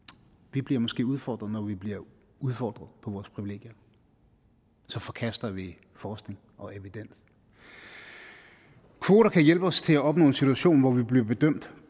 bliver måske udfordret når vi bliver udfordret på vores privilegier så forkaster vi forskning og evidens kvoter kan hjælpe os til at opnå en situation hvor vi bliver bedømt